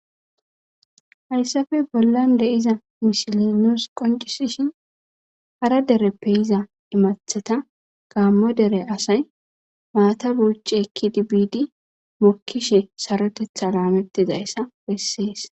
Hayssape bollan de'iza misile nuus qoncisishin hara dereppe yiza imathata gaammo dere asay maata buucci ekkidi biidi mokkishe sarotetha laamettizayssa bessees.